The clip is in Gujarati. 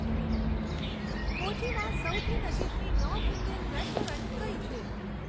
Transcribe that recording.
કોચીમાં સૌથી નજીકની નોર્થ ઇન્ડિયન રેસ્ટોરન્ટ કઈ છે